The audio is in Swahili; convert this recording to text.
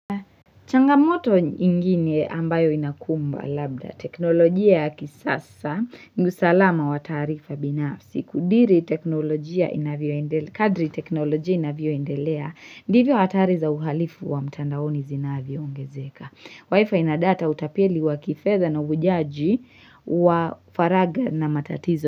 Changamoto nyi ingine ambayo inakumba labda teknolojia ya kisasa ni usalama wa taarifa binafsi kudiri teknolojia inavyoendele kadri teknolojia inavyoendelea ndivyo hatari za uhalifu wa mtandaoni zinavyoongezeka wifi ina data utapeli wa kifedha na ujaji wa faraga na matatizo.